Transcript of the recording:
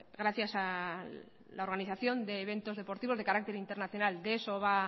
gracias a la organización de eventos deportivos de carácter internacional de eso va